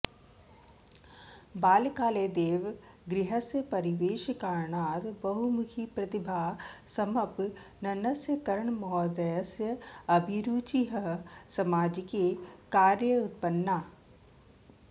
बाल्यकालदेव गृहस्य परिवेशकारणात् बहुमुखिप्रतिभासम्पन्नस्य कर्णमहोदयस्य अभिरुचिः सामाजिके कार्ये उत्पन्ना